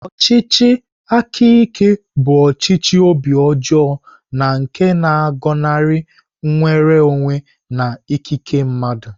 Ọchịchị aka ike bụ ọchịchị obi ọjọọ na nke na-agọnarị nnwere onwe na ikike mmadụ.